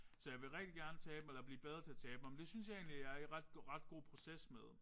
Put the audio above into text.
Så jeg vil rigtig gerne tabe mig eller blive bedre til at tabe mig. Men det synes jeg egentlig jeg er i ret god ret god proces med